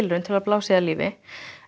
reynt að blása í það lífi